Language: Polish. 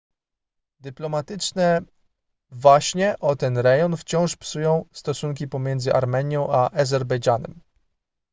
dyplomatyczne waśnie o ten rejon wciąż psują stosunki pomiędzy armenią a azerbejdżanem